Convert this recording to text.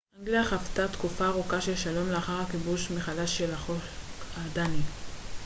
אנגליה חוותה תקופה ארוכה של שלום לאחר הכיבוש מחדש של החוק הדני